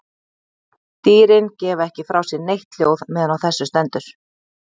Dýrin gefa ekki frá sér neitt hljóð meðan á þessu stendur.